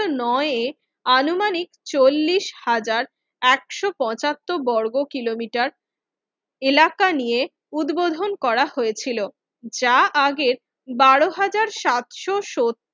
নয়ে আনুমানিক চল্লিশ হাজার একশো পঁচাত্তর বর্গ কিলোমিটার এলাকা নিয়ে উদ্বোধন করা হয়েছিল যা আগে বারো হাজার সাতশো সত্তর